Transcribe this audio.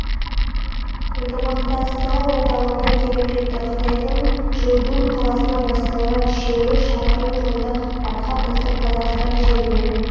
ынтымақтастығы орталығына келіп жетті қытайдың жудун қаласынан басталған шеру шақырым жолды артқа тастап қазақстан жеріне